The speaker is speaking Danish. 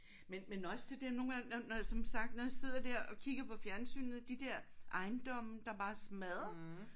Men men også det der nogle gange når når som sagt når jeg sidder der og kigger på fjernsynet de der ejendomme der bare er smadret